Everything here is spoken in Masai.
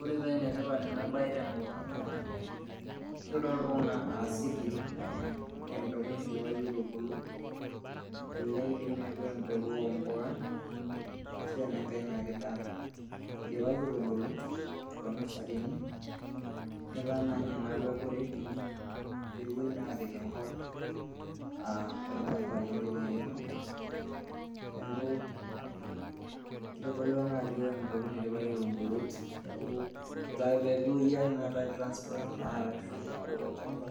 Ore paa enetipat ena bae tenkop aang' naa, keitodolu Kuna anaa seedlings aa empeko naidipaki aitubulu. Elelek peaku embeku oo mbuka, ashu naake enenkai daa , eidipaki aitubulu too nurserini etaa naa ninye peaku ready peepuoi naa apik enkop aaa olchamba lindipa airemo. Neaku keitodolu ena ajo empeku naidipa aitubulu neaku etaa peepuoi naa ai transplant arashu aapik olchamba,